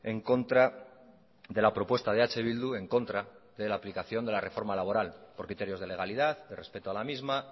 en contra de la propuesta de eh bildu en contra de la aplicación de la reforma laboral por criterios de legalidad de respeto a la misma